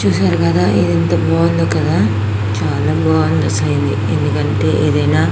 చూసారు కదా ఇదంతా బాగుంది కదా చాల బావుంది అసలు ఎందుకంటె --